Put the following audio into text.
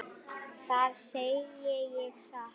Það segi ég satt.